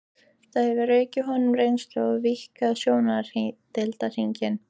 Það hefur aukið honum reynslu og víkkað sjóndeildarhringinn.